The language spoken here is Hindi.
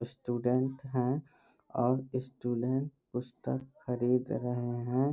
स्टूडेंट है और स्टूडेंट पुस्तक खरीद रहे है।